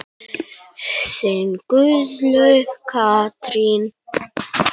Þín Guðlaug Katrín.